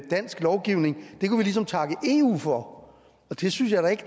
dansk lovgivning kunne vi ligesom takke eu for det synes jeg da ikke